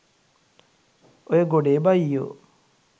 ඔය ගොඩේ බයියො